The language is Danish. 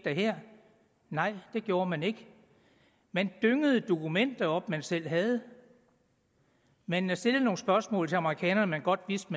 nej det gjorde man ikke man dyngede dokumenter op man selv havde man man stillede nogle spørgsmål til amerikanerne man godt vidste